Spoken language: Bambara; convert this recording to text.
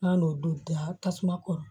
N'an y'o don da tasuma kɔrɔ